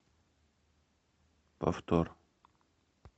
повтор